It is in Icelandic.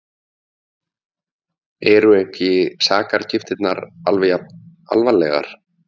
Eru ekki sakargiftirnar alveg jafn alvarlegar?